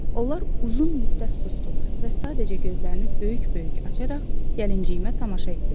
Onlar uzun müddət susdular və sadəcə gözlərini böyük-böyük açaraq gəlinciyimə tamaşa etdilər.